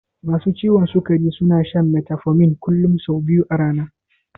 Masu ciwon sikari suna shan metformin kullun sau biyu a rana.